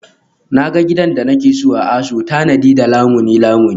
Na ga gidan da nake so a ASO tanadi da Lamuni Lamuni